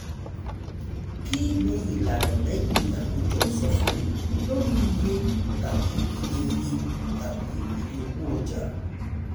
kí ni ìlànà lẹ́yìn àkójọ ìsọfúnni lórí iye tàbí iye iye tàbí iye owó ọjà?